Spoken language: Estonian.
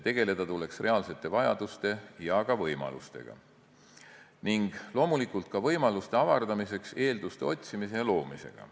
Tegeleda tuleks reaalsete vajaduste ja ka võimalustega ning loomulikult ka võimaluste avardamiseks eelduste otsimise ja loomisega.